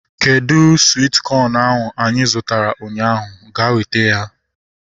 Kedụ swit kọn ahu anyị zụtara ụnyaahụ? Ga weta ya!